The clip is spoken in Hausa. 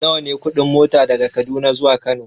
Nawa ne kuɗin mota daga Kaduna zuwa Kano?